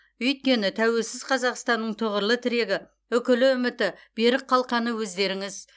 өйткені тәуелсіз қазақстанның тұғырлы тірегі үкілі үміті берік қалқаны өздеріңіз